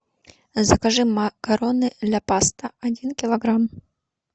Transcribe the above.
закажи макароны ля паста один килограмм